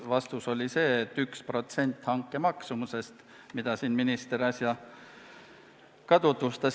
Vastus oli, et 1% hanke maksumusest, nagu ka minister äsja selgitas.